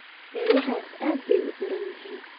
Eeyahaas aad bay u daran yihiin